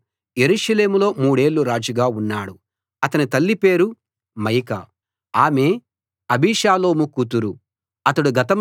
అతడు యెరూషలేములో మూడేళ్ళు రాజుగా ఉన్నాడు అతని తల్లి పేరు మయకా ఆమె అబీషాలోము కూతురు